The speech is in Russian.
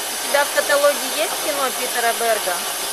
у тебя в каталоге есть кино питера берга